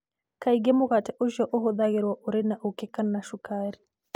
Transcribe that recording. Kaingĩ mũgate ũcio ũhũthagĩrũo ũrĩ na ũũkĩ kana cukari.